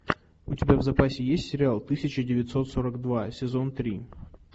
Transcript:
у тебя в запасе есть сериал тысяча девятьсот сорок два сезон три